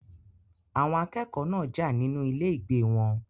Àwọn akẹ́kọ̀ọ́ náà jà nínú ilé ìgbé wọn.